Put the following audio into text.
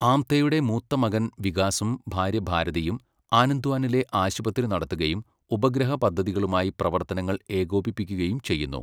ആംതെയുടെ മൂത്ത മകൻ വികാസും ഭാര്യ ഭാരതിയും, ആനന്ദ്വാനിലെ ആശുപത്രി നടത്തുകയും ഉപഗ്രഹ പദ്ധതികളുമായി പ്രവർത്തനങ്ങൾ ഏകോപിപ്പിക്കുകയും ചെയ്യുന്നു.